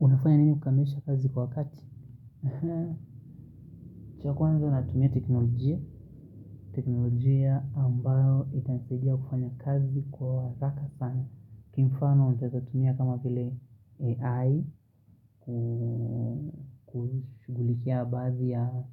Unafanya nini kukamilisha kazi kwa wakati? Cha kwanza natumia teknolojia. Teknolojia ambayo itanisaidia kufanya kazi kwa wakaka sana. Kimfano utaezatumia kama vile AI Kushughulikia baadhi ya